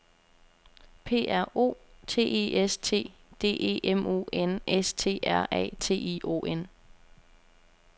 P R O T E S T D E M O N S T R A T I O N